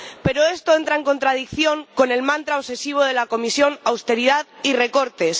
Pero esto entra en contradicción con el mantra obsesivo de la Comisión de austeridad y recortes.